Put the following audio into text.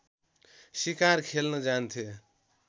सिकार खेल्न जान्थे